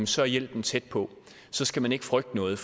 så er hjælpen tæt på så skal man ikke frygte noget